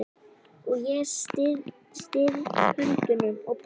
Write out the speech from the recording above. Og ég styð höndunum á brjóst hans.